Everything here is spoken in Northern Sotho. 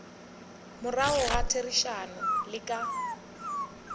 morago ga therišano le ka